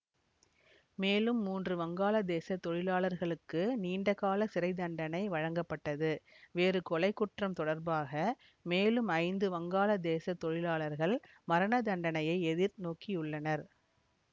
மேலும் மூன்று வங்காளதேச தொழிலாளர்களுக்கு நீண்டகாலச் சிறை தண்டனை வழங்கப்பட்டது வேறு கொலைக்குற்றம் தொடர்பாக மேலும் ஐந்து வங்காளதேச தொழிலாளர்கள் மரணதண்டனையை எதிர் நோக்கியுள்ளனர்